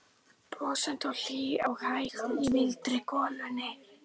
Brosandi og hlý og hæg í mildri golunni.